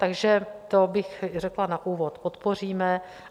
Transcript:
Takže to bych řekla na úvod, podpoříme.